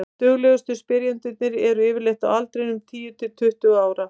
duglegustu spyrjendurnir eru yfirleitt á aldrinum tíu til tuttugu ára